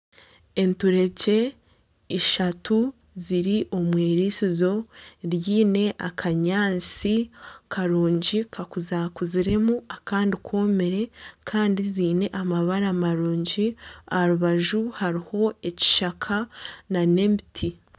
Enturegye ishatu ziri omu iritsizo ryine akanyaatsi karungi kakuza kuziremu akandi komire kandi ziine amabara marungi aha rubaju hariho ekishaka n'emiti.